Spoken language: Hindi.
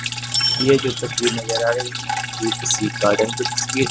ये जो तस्वीर नजर आ रही है ये किसी गार्डन की तस्वीर है।